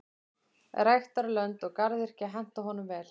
Ræktarlönd og garðyrkja henta honum vel.